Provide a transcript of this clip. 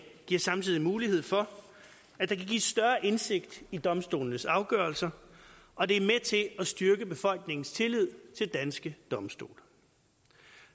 giver samtidig mulighed for at der kan gives større indsigt i domstolenes afgørelser og det er med til at styrke befolkningens tillid til danske domstole